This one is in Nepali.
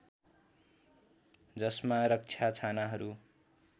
जसमा रक्षा छानाहरू